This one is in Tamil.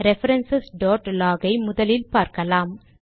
ரெஃபரன்ஸ் log ஐ முதலில் பார்க்கலாம்